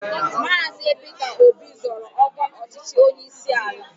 Maazi Peter Obi zoro ọkwa ọchịchị onyeisi ala